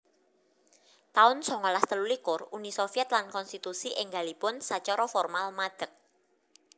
taun songolas telulikur Uni Soviet lan konstitusi énggalipun sacara formal madeg